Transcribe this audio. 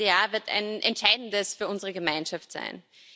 Das nächste Jahr wird ein entscheidendes für unsere Gemeinschaft sein.